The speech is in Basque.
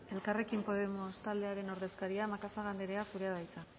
elkarrekin podemos taldearen ordezkaria macazaga anderea zurea da hitza